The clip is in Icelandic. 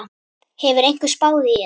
Hefur einhver spáð í þetta?